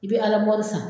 I bɛ alamori san